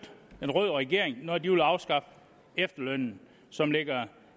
en rød regering når de ville afskaffe efterlønnen som ligger